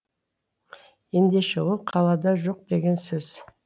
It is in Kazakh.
ендеше ол қалада жоқ деген сөз